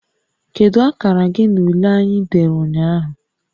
Kedu akara gị na ule anyị dere ụnyaahụ?